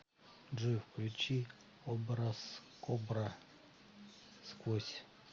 джой включи образкобра сквозь